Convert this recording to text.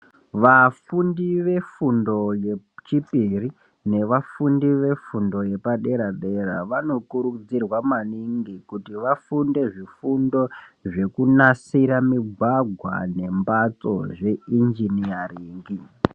Vafundi vefundo yechipiri nevafundi vefundo yepadera dera vanokurudzirwa maningi kuti vafunde zvifundo zvekunasira migwagea nembatso zve injiniyaringi.